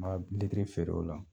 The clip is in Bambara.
litiri feere o la.